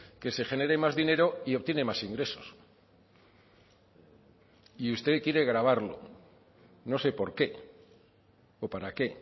que se genere más dinero y obtiene más ingresos y usted quiere gravarlo no sé por qué o para qué